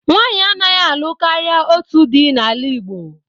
Nwanyị anaghị alụ karịa otu di n'ala Igbo.